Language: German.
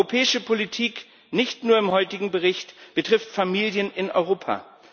Europäische Politik nicht nur im heutigen Bericht betrifft Familien in Europa.